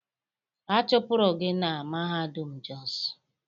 A chụpụrụ gị na mahadum Jos.!